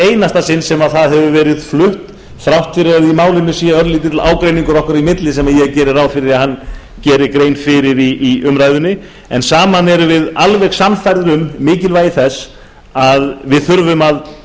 einasta sinn sem það hefur verið flutt þrátt fyrir að í málinu sé örlítill ágreiningur okkar í milli sem ég geri ráð fyrir að hann geri grein fyrir í umræðunni en saman erum við alveg sannfærðir um mikilvægi þess að